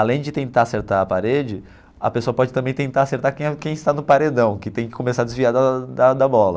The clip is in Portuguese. Além de tentar acertar a parede, a pessoa pode também tentar acertar quem quem está no paredão, que tem que começar a desviar da da da bola.